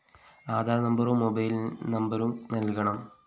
ആധാര്‍ നമ്പരും മൊബൈൽ നമ്പരും നല്‍കണം